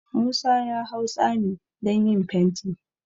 Musa ya hau tsami don yin fenti